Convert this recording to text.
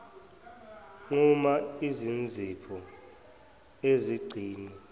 nquma izinzipho uzigcine